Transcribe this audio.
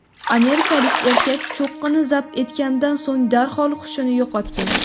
Amerikalik erkak cho‘qqini zabt etganidan so‘ng darhol hushini yo‘qotgan.